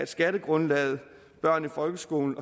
skattegrundlaget børn i folkeskolen